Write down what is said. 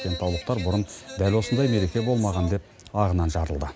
кентаулықтар бұрын дәл осындай мереке болмаған деп ағынан жарылды